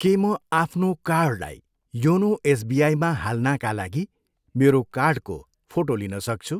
के म आफ्नो कार्डलाई योनो एसबिआईमा हाल्नाका लागि मेरो कार्डको फोटो लिन सक्छु?